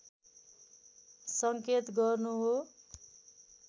संकेत गर्नु हो